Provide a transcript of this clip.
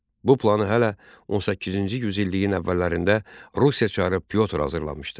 Bu planı hələ 18-ci yüzilliyin əvvəllərində Rusiya çarı I Pyotr hazırlamışdı.